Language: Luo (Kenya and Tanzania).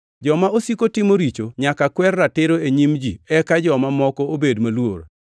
Joma osiko timo richo nyaka kwer ratiro e nyim ji eka joma moko obed maluor.